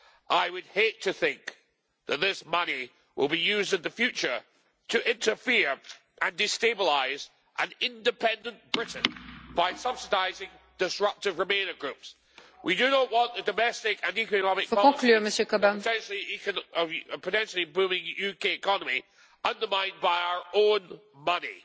I would hate to think that this money will be used in the future to interfere and destabilise an independent Britain by subsidising disruptive remainer groups. We do not want the domestic and economic potentially booming UK economy undermined by our own money